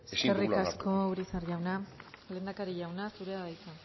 eskerrik asko urizar jauna lehendakari jauna zurea da hitza